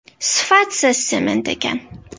Sifatsiz sement ekan”.